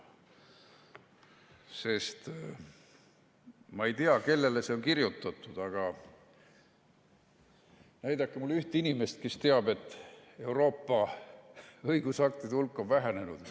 Sest ma ei tea, kellele see on kirjutatud, aga näidake mulle ühte inimest, kes teab, et Euroopa õigusaktide hulk on vähenenud.